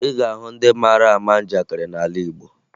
Ị ga-ahụ ndị mara ama njakịrị n'ala Igbo